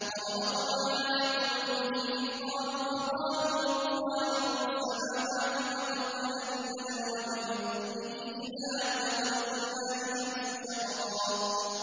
وَرَبَطْنَا عَلَىٰ قُلُوبِهِمْ إِذْ قَامُوا فَقَالُوا رَبُّنَا رَبُّ السَّمَاوَاتِ وَالْأَرْضِ لَن نَّدْعُوَ مِن دُونِهِ إِلَٰهًا ۖ لَّقَدْ قُلْنَا إِذًا شَطَطًا